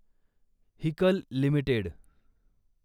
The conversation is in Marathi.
Haeckel limited